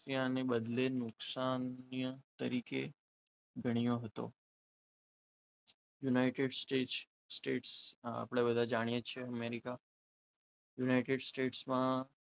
ત્યાં ને બદલે નુકસાન ની તરીકે ગણ્યો હતો. યુનાઇટેડ સ્ટેટ આપણે બધા જાણીએ છીએ અમેરિકા યુનાઇટેડ સ્ટેટમાં,